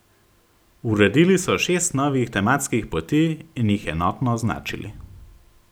Uredili so šest novih tematskih poti in jih enotno označili.